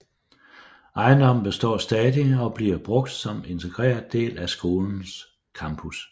Ejendommen består stadig og bliver brugt som integreret del af skolens campus